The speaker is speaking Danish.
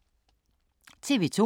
TV 2